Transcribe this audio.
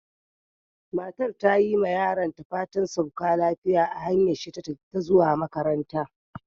Matar ta yi ma yaronta fatan "sauka lafiya" a hanyar shi zuwa makaranta.